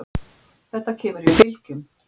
Þetta kemur í bylgjum.